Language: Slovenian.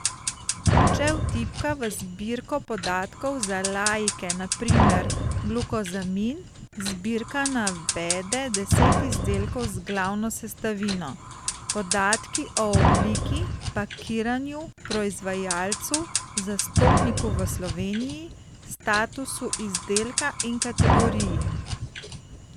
Če vtipka v zbirko podatkov za laike na primer glukozamin, zbirka navede deset izdelkov z glavno sestavino, podatki o obliki, pakiranju, proizvajalcu, zastopniku v Sloveniji, statusu izdelka in kategoriji.